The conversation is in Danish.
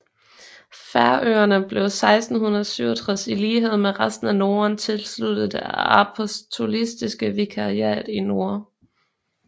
Færøerne blev 1667 i lighed med resten af Norden tilsluttet Det apostoliske vikariat i nord